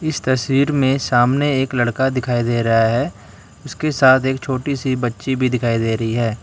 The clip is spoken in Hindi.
इस तस्वीर में सामने एक लड़का दिखाई दे रहा है उसके साथ एक छोटी सी बच्ची भी दिखाई दे रही है।